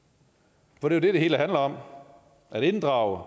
for det er jo det det hele handler om at inddrage